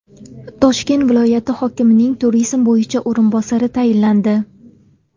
Toshkent viloyati hokimining turizm bo‘yicha o‘rinbosari tayinlandi.